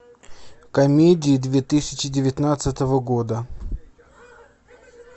комедии две тысячи девятнадцатого года